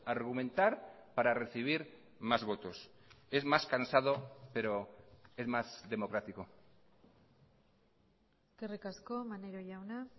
argumentar para recibir más votos es más cansado pero es más democrático eskerrik asko maneiro jauna